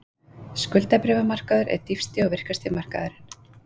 Skuldabréfamarkaður er dýpsti og virkasti markaðurinn